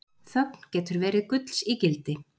Þögn getur verið gulls ígildi